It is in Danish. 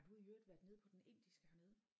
Har du i øvrigt været nede på den indiske hernede?